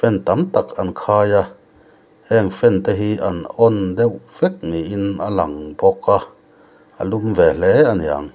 an tamtak an khaia heng fan te hi an on deuh vek niin a lang bawk a a lum ve hle a ni ang.